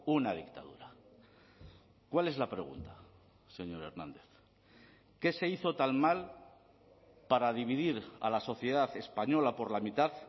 una dictadura cuál es la pregunta señor hernández qué se hizo tan mal para dividir a la sociedad española por la mitad